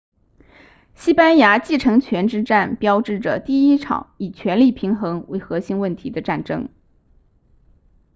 西班牙继承权之战标志着第一场以权力平衡为核心问题的战争